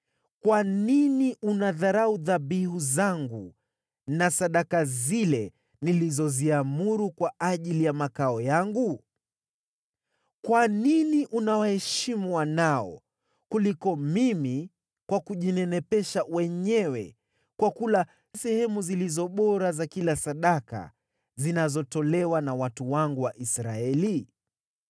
Kwa nini unadharau dhabihu zangu na sadaka zile nilizoziamuru kwa ajili ya makao yangu? Kwa nini unawaheshimu wanao kuliko mimi kwa kujinenepesha wenyewe kwa kula sehemu zilizo bora za kila sadaka zinazotolewa na watu wangu wa Israeli?’